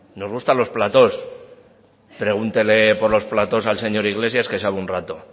nos gusta los platos pregúntele por los platos al señor iglesias que sabe un rato